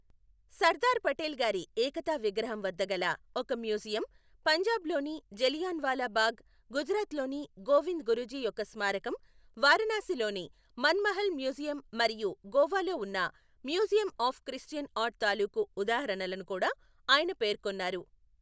సర్దార్ పటేల్ గారి ఏకతా విగ్రహం వద్ద గల ఒక మ్యూజియమ్, పంజాబ్ లోని జలియాఁవాలా బాగ్, గుజరాత్ లోని గోవింద్ గురుజీ యొక్క స్మారకం, వారాణసీలోని మన్మహల్ మ్యూజియమ్ మరియు గోవాలో ఉన్న మ్యూజియమ్ ఆఫ్ క్రిస్టియన్ ఆర్ట్ తాలూకు ఉదాహరణలను కూడా ఆయన పేర్కొన్నారు.